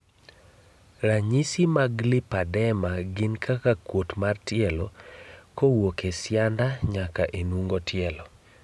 Ranyisi mag Lipedema gin kaka kuot mar tielo kowuok e sianda nyaka enungo tielo.